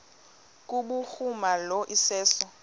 kubhuruma lo iseso